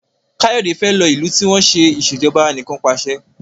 Kayode fè ló ilú tí wón ṣe Ìṣèjọba Anìkanpàṣẹ